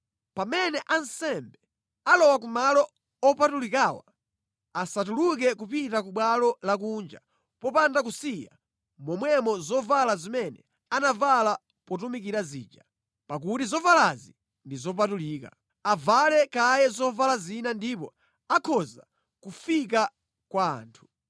Pamene ansembe alowa ku malo opatulikawa, asatuluke kupita ku bwalo lakunja popanda kusiya momwemo zovala zimene anavala potumikira zija, pakuti zovalazi ndi zopatulika. Avale kaye zovala zina ndipo akhoza kufika kwa anthu.”